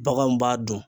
Baganw b'a dun